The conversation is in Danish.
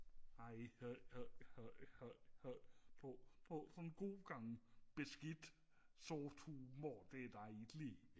har I fået fået sådan en god gang beskidt sort humor det dejligt